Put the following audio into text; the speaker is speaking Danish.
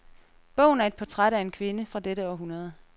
Bogen er et portræt af en kvinde fra dette århundrede.